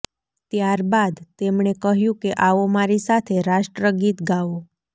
ત્યારબાદ તેમણે કહ્યું કે આવો મારી સાથે રાષ્ટ્રગીત ગાઓ